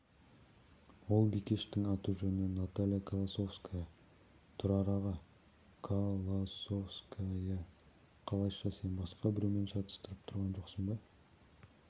ол бикештің аты-жөні наталья колосовская тұрар аға ко-ло-сов-ска-я қалайша сен басқа біреумен шатыстырып тұрған жоқсың ба